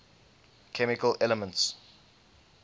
chemical elements